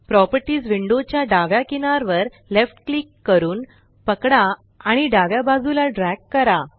properties window च्या डाव्या किनार वर लेफ्ट क्लिक करून पकडा आणि डाव्या बाजूला ड्रॅग करा